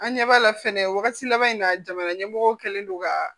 An ɲɛ b'a la fɛnɛ wagati laban in na jamana ɲɛmɔgɔw kɛlen don ka